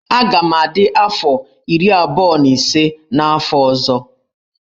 Aga m adị afọ iri abụọ na ise n'afọ ọzọ.